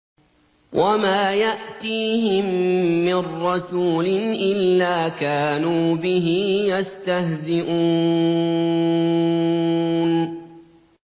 وَمَا يَأْتِيهِم مِّن رَّسُولٍ إِلَّا كَانُوا بِهِ يَسْتَهْزِئُونَ